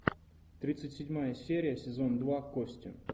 тридцать седьмая серия сезон два кости